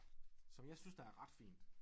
Som jeg synes der er ret fint